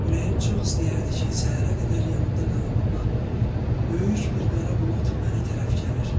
Ürəyim çox istəyərdi ki, səhərə qədər yanında qalam, amma böyük bir qara bulud mənə tərəf gəlir.